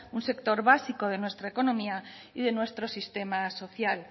un sector básico de nuestra economía y de nuestro sistema social